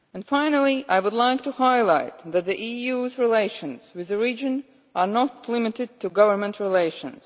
Finally, I would like to highlight that the EU's relations with the region are not limited to governmental relations.